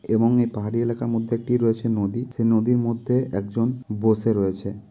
এবং এই পাহাড়ি এলাকার মধ্যে একটি রয়েছে নদী সেই নদীর মধ্যে একজন বসে রয়েছে।